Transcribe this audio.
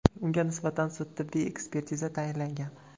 Unga nisbatan sud-tibbiy ekspertiza tayinlangan.